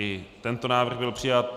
I tento návrh byl přijat.